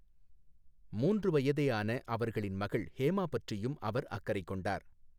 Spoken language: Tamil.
மூன்று வயதே ஆன அவர்களின் மகள் ஹேமா பற்றியும் அவர் அக்கறை கொண்டார்.